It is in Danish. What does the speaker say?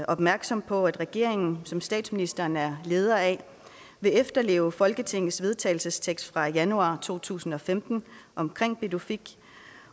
opmærksomme på at regeringen som statsministeren er leder af vil efterleve folketingets vedtagelsestekst fra januar to tusind og femten omkring pituffik